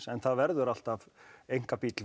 en það verður alltaf einkabíll